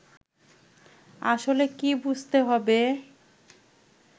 আসলে কী বুঝতে হবে